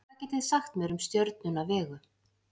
hvað getið þið sagt mér um stjörnuna vegu